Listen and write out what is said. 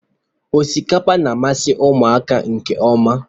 Osikapa na-amasị ụmụaka nke ọma.